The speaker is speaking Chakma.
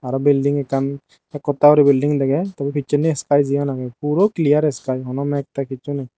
araw belding ekkan ekhotta guri belding degei tey picchendi skai jiyan agey puro clear skai hono meg teg hissu nei.